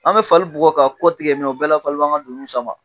An bɛ fali bugɔ k'a kɔ tigɛ min, o bɛɛ la fali b 'an ka donniw sama!